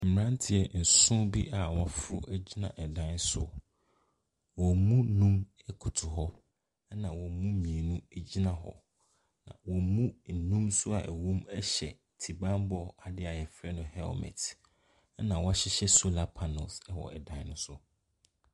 Mmirantieɛ eson bi a wɔn afro kɔ gyina edan bi ɛso, wɔn mu num ɛkotow hɔ, ɛna wɔn mu mmienu egyina hɔ. Na emu enum hyɛ ti banbɔ adeɛ yɛfrɛ no hɛlmɛt ena w'ɔhyehyɛ solar panɛls wɔ ɛdan ne so.